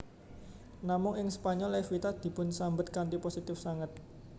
Namung ing Spanyol Evita dipunsambet kanthi positif sanget